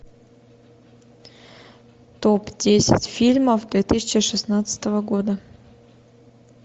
топ десять фильмов две тысячи шестнадцатого года